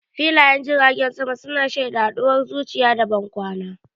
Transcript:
Filayen jiragen sama su na shaida haduwar zuci da bankwana.